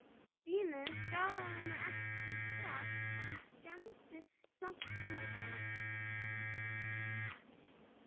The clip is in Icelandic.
Vínið skaðaði mig ekki strax en skemmdi samt hjónabandið.